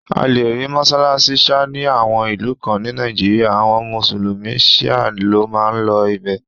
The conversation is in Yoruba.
A lè rí mọ́sálásí Sha ni àwọn ìlú kan ní Nàìjíríà, àwọn mùsùlùmí shia ló n máa lọ ibẹ̀